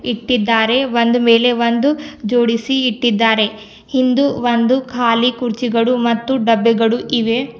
ಇಟ್ಟಿದ್ದಾರೆ ಒಂದ್ ಮೇಲೆ ಒಂದ್ ಜೋಡಿಸಿ ಇಟ್ಟಿದ್ದಾರೆ ಹಿಂದು ಒಂದು ಖಾಲಿ ಕುರ್ಚಿಗಳು ಮತ್ತು ಡಬ್ಬೆಗಳು ಇವೆ.